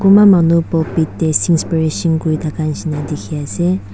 kunpa manu pulpit tae kurithaka nishina dikhiase.